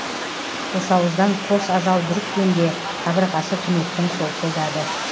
қосауыздан қос ажал бүріккенде қабырғасы түнектің солқылдады